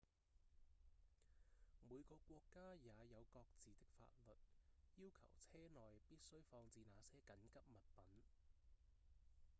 每個國家也有各自的法律要求車內必須放置哪些緊急物品